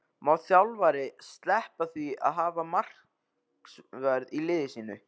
Má þjálfari sleppa því að hafa markvörð í sínu liði?